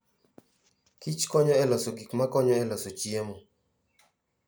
Kich konyo e loso gik makonyo e loso chiemo.